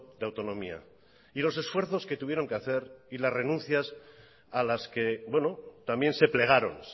de autonomía y los esfuerzos que tuvieron que hacer y las renuncias a las que también se plegaron